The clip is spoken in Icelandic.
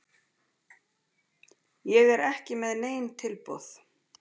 Ég er ekki með nein tilboð.